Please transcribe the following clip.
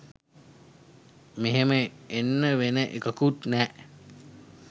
මෙහෙම එන්න වෙන එකකුත් නෑ.